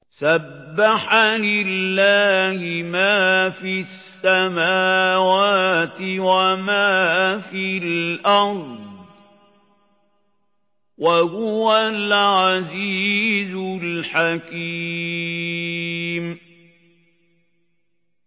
سَبَّحَ لِلَّهِ مَا فِي السَّمَاوَاتِ وَمَا فِي الْأَرْضِ ۖ وَهُوَ الْعَزِيزُ الْحَكِيمُ